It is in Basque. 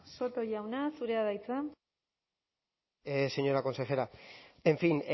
soto jauna zurea da hitza señora consejera en fin